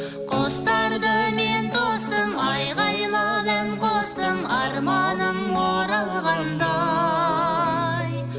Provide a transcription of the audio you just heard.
құстарды мен тостым айғайлап ән қостым арманым оралғандай